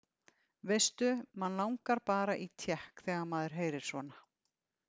Veistu, mann langar bara í tékk þegar maður heyrir svona.